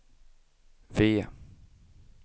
V